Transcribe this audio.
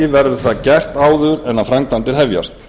verður það gert áður en þær hefjast